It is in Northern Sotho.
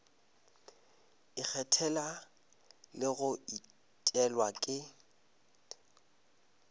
ikgethela le go etelwa ke